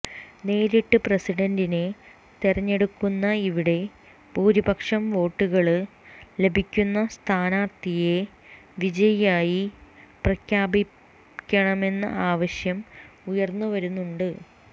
നേരിട്ട് പ്രസിഡന്റിനെ തെരഞ്ഞെടുക്കുന്ന ഇവിടെ ഭൂരിപക്ഷം വോട്ടുകള് ലഭിക്കുന്ന സ്ഥാനാര്ഥിയെ വിജയിയായി പ്രഖ്യാപിക്കണമെന്ന ആവശ്യവും ഉയര്ന്നു വരുന്നുണ്ട്